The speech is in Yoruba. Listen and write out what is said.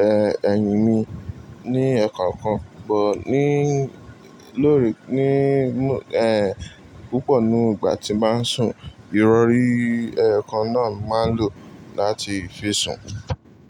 ẹ́h, ẹ̀yìn mi ní ẹ́ẹ̀kan kan. Bọ́n ní, lórí, ní ẹ́h, púpọ̀ nínú ìgbà tí màá n sùn, ìrọ̀rí ẹẹ́kan náà màá lò láti fi sùn.